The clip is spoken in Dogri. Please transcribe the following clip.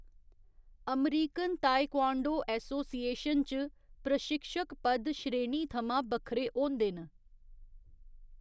अमरीकन तायक्वांडो एसोसिएशन च, प्रशिक्षक पद श्रेणी थमां बक्खरे होंदे न।